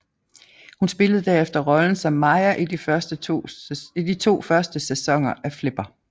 Hun spillede derefter rollen som Maya i de to første sæsoner af Flipper